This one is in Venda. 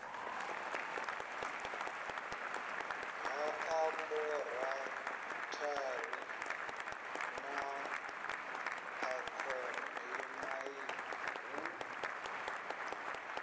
ha aborathari na akhademia hu